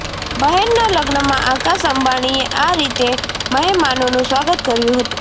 બહેનના લગ્નમાં આકાશ અંબાણીએ આ રીતે મહેમાનોનું સ્વાગત કર્યું હતું